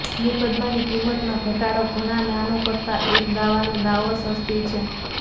મુકદ્દમાની કિંમતમાં ઘટાડો ઘણાં નાનો કરતાં એક દાવાનો દાવો સસ્તી છે